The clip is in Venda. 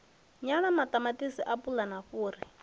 nyala ṱamaṱisi apula na fhuri